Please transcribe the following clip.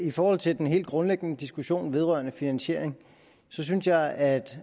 i forhold til den helt grundlæggende diskussion vedrørende finansiering synes jeg at